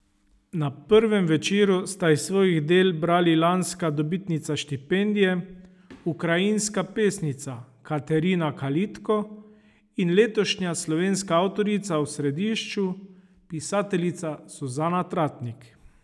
Na prvem večeru sta iz svojih del brali lanska dobitnica štipendije, ukrajinska pesnica Katerina Kalitko in letošnja slovenska avtorica v središču, pisateljica Suzana Tratnik.